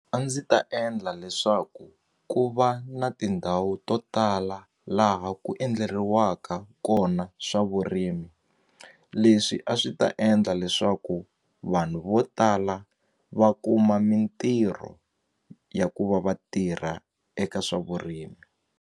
A ndzi ta endla leswaku ku va na tindhawu to tala laha ku endleriwaka kona swa vurimi leswi a swi ta endla leswaku vanhu vo tala va kuma mintirho ya ku va vatirha eka swa vurimi.